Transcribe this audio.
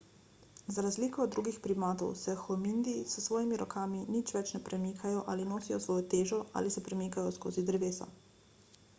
za razliko od drugih primatov se hominidi s svojimi rokami nič več ne premikajo ali nosijo svojo težo ali se premikajo skozi drevesa